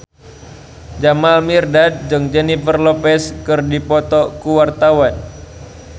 Jamal Mirdad jeung Jennifer Lopez keur dipoto ku wartawan